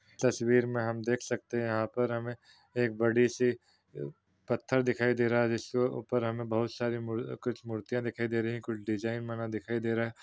तस्वीर मे हम देख सकते हैं यहाँ पर हमे एक बड़ी सी पत्थर दिखाई दे रहा हैंजिसके ऊपर हमे बहुत सारा कुछ मूर्तियाँ दिखाई दे रही हैं कुछ डिजिन बना दिख रहा हैं।